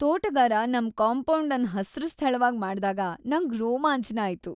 ತೋಟಗಾರ ನಮ್ ಕಾಂಪೌಂಡ್ ಅನ್ ಹಸ್ರು ಸ್ಥಳವಾಗ್ ಮಾಡ್ದಾಗ ನಂಗ್ ರೋಮಾಂಚನ ಆಯ್ತು.